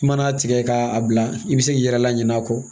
I mana tigɛ k'a bila i be se k'i yɛrɛ la ɲina a kɔ